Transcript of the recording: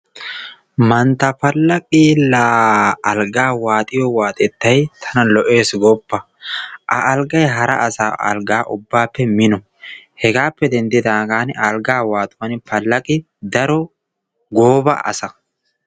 Mantta Palaqi laa alggaa waaxxiyo waaxxetay tana lo"eessi gooppa. A alggay hara asaa alggaappe mino. Hegappe denddidaagan algga waaxxuwaan Palaqi daro goobaa asa.